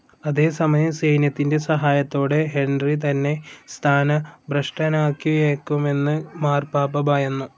അതേസമയം, സൈന്യത്തിൻ്റെ സഹായത്തോടെ ഹെൻറി തന്നെ സ്ഥാനഭ്രഷ്ടനാക്കിയേക്കുമെന്ന് മാർപാപ്പ ഭയന്നു.